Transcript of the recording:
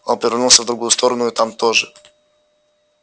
он повернулся в другую сторону и там тоже